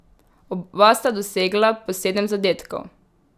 Oba sta dosegla po sedem zadetkov.